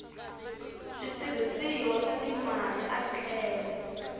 switirhisiwa swa timali a tlhela